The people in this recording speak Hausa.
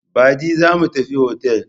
Baɗi za mu tafi otal.